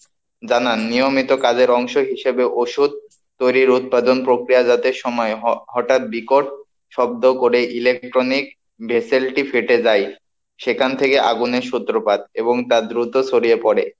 জানান নিয়মিত কাজের অংশ হিসেবে ওষুধ তৈরির উৎপাদন প্রক্রিয়া যাতে সময় হয়, হঠাৎ বিকট শব্দ করে electronic vessel টি ফেটে যায়, সেখান থেকে আগুনের সূত্রপাত এবং তা দ্রুত ছড়িয়ে পড়ে।